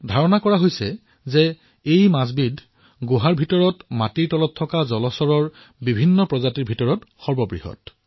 কোৱা হয় যে এই মাছ বিধ গুহাৰ ভিতৰত থকা জলজ প্ৰাণীসমূহৰ ভিতৰত সবাতোকৈ বৃহৎ